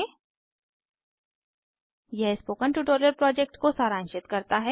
httpspoken tutorialorgWhat is a Spoken Tutorial यह spoken tutorial project को सारांशित करता है